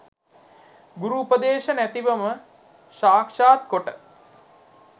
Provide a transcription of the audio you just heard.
ගුරු උපදේශ නැතිවම සාක්‍ෂාත් කොට